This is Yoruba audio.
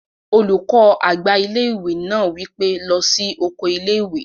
Olùkọ́ àgbà ilé-ìwé náà wí pé, "lọ sí oko ilé-ìwé!"